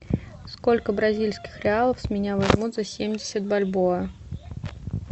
сколько бразильских реалов с меня возьмут за семьдесят бальбоа